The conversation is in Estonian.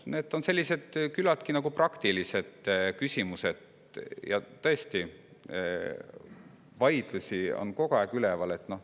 Need on küllaltki praktilised küsimused, ja tõesti, vaidlusi on kogu aeg üleval.